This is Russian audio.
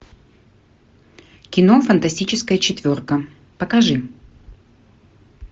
кино фантастическая четверка покажи